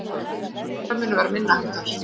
Meiðsl þeirra munu vera minniháttar